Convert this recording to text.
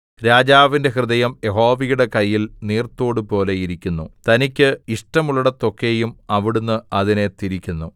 രാജാവിന്റെ ഹൃദയം യഹോവയുടെ കയ്യിൽ നീർത്തോട് പോലെ ഇരിക്കുന്നു തനിക്ക് ഇഷ്ടമുള്ളേടത്തേക്കൊക്കെയും അവിടുന്ന് അതിനെ തിരിക്കുന്നു